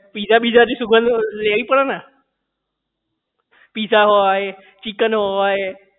Pizza બિઝાથી સુગંધ લેવી પડે ને. પીઝા હોય ચિકન હોય